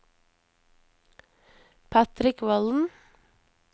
Patrick Volden